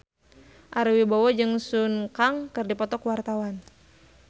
Ari Wibowo jeung Sun Kang keur dipoto ku wartawan